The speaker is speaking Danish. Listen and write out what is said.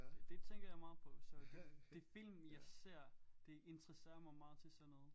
Det det tænker jeg meget på så det de film jeg ser det interesserer mig meget til sådan noget